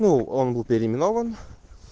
ну он был переименован